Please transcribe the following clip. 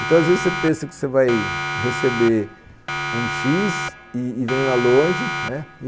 Então às vezes você pensa que vai receber um X e e vem lá longe, né